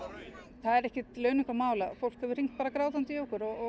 það er ekkert launungarmál að fólk hefur hringt bara grátandi í okkur og